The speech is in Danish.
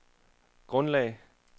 grundlag